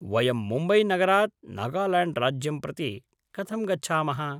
वयं मुम्बैनगरात् नागाल्याण्ड्राज्यं प्रति कथं गच्छामः?